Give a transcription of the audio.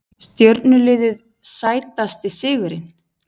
Stjörnuliðið Sætasti sigurinn?